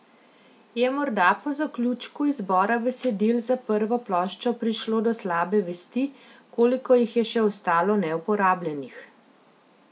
Je morda po zaključku izbora besedil za prvo ploščo prišlo do slabe vesti, koliko jih je še ostalo neuporabljenih?